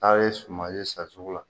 A ye suman ye san sugu la.